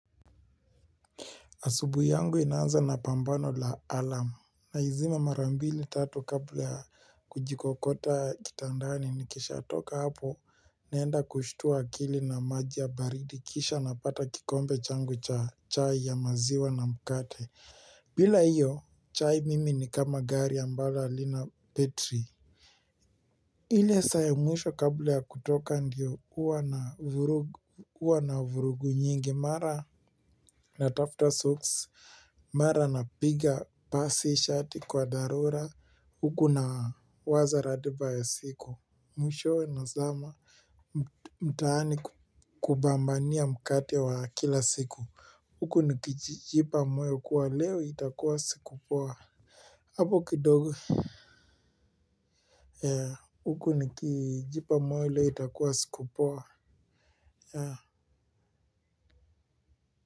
Asubuhi yangu inaanza na pambano la alarm. Naizima mara mbili tatu kabla ya kujikokota kitandani nikisha toka hapo naenda kushtua akili na maji ya baridi kisha napata kikombe changu cha chai ya maziwa na mkate. Bila hiyo, chai mimi ni kama gari ambalo halina betri. Ile saa ya mwisho kabla ya kutoka ndio huwa na vurugu nyingi mara. Na tafuta socks mara napiga pasi shati kwa dharura huku nawaza ratiba ya siku. Mwishowe nazama mtaani kupambania mkate wa kila siku huku nikijipa moyo kuwa leo itakuwa siku poa hapo kidogo. Huku nikijipa moyo leo itakuwa siku poa. Ya.